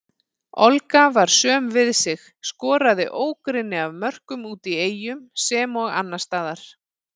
Olga var söm við sig, skoraði ógrynni af mörkum úti í Eyjum sem og annarsstaðar.